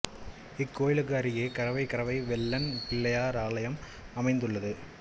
இக்கோயிலுக்கு அருகே கரவை கரவை வெல்லன் பிள்ளையார் ஆலயம் அமைந்துள்ளதுள்ளது